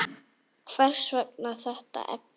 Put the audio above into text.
Hvers vegna þetta efni?